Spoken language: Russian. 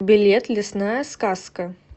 билет лесная сказка